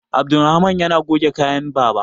Abdulrahaman yana goge kayan baba